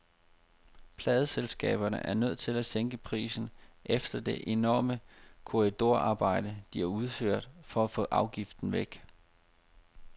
Pladeselskaberne er nødt til at sænke prisen efter det enorme korridorarbejde, de har udført for at få afgiften væk.